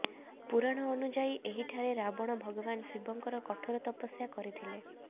ପୁରାଣ ଅନୁଯାୟୀ ଏହିଠାରେ ରାବଣ ଭଗବାନ ଶିବଙ୍କର କଠୋର ତପସ୍ୟା କରିଥିଲେ